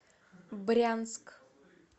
брянск